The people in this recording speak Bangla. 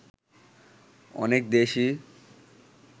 অনেক দেশই